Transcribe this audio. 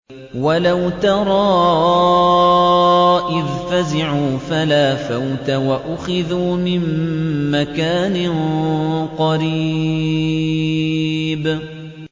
وَلَوْ تَرَىٰ إِذْ فَزِعُوا فَلَا فَوْتَ وَأُخِذُوا مِن مَّكَانٍ قَرِيبٍ